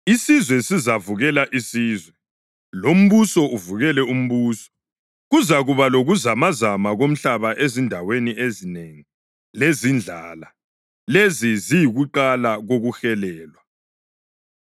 Isizwe sizavukela isizwe, lombuso uvukele umbuso. Kuzakuba lokuzamazama komhlaba ezindaweni ezinengi, lezindlala. Lezi ziyikuqala kokuhelelwa.